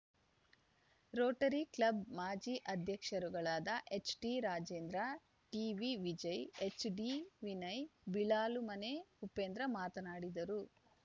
Rotary club ಮಾಜಿ ಅಧ್ಯಕ್ಷರುಗಳಾದ ಎಚ್‌ಟಿರಾಜೇಂದ್ರ ಟಿವಿವಿಜಯಎಚ್‌ಡಿವಿನಯ್‌ ಬಿಳಾಲುಮನೆ ಉಪೇಂದ್ರ ಮಾತನಾಡಿದರು